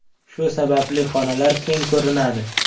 Shu sababli xonalar keng ko‘rinadi.